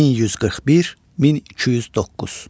1141-1209.